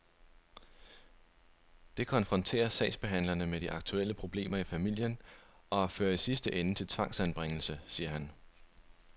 Det konfronterer sagsbehandlerne med de aktuelle problemer i familien og fører i sidste ende til tvangsfjernelse, siger han.